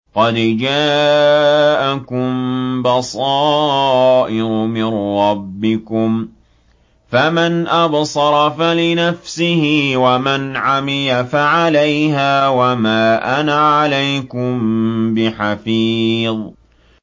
قَدْ جَاءَكُم بَصَائِرُ مِن رَّبِّكُمْ ۖ فَمَنْ أَبْصَرَ فَلِنَفْسِهِ ۖ وَمَنْ عَمِيَ فَعَلَيْهَا ۚ وَمَا أَنَا عَلَيْكُم بِحَفِيظٍ